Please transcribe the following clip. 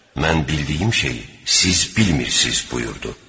Mən bildiyim şeyi siz bilmirsiniz, buyurdu.